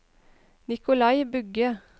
Nicolai Bugge